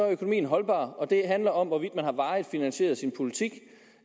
økonomien holdbar og det handler om hvorvidt man har varigt finansieret sin politik